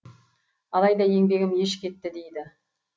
алайда еңбегім еш кетті дейді